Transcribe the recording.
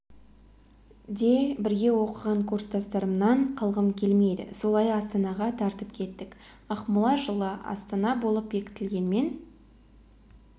де бірге оқыған курстастарымнан қалғым келмеді солай астанаға тартып кеттік ақмола жылы астана болып бекітілгенмен